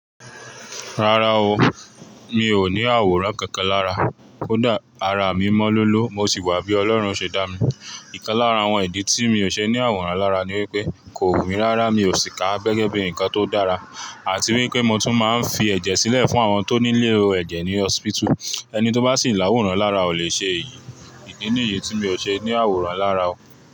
Rárá o, mi ò ní àwòrán kankan lára. Kodà ara mi mọ́ lolo mo sì wà bí Ọlọ́run ṣe dá mi. Ìkan lára àwọn ìdí tí mi ò ṣe ní àwòrán lára ni wípé, kò wù mí rá rá mi ò sì kà á gẹ́gẹ́ bí ǹkan tó dára àti wípé mo tún máa ń fi ẹ̀jẹ̀ sílẹ̀ fún àwọn tó nílo ẹ̀jẹ̀ ní hospital. Ẹni tó bá sì ń láwòrán lára ò lè ṣe èyí. Ìdí nìyí tí mi ò ṣe ní àwòrán lára o.